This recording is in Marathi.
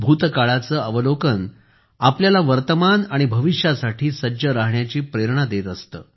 भूतकाळाचे अवलोकन आपल्याला वर्तमान आणि भविष्यासाठी सज्ज राहण्याची प्रेरणा देत असते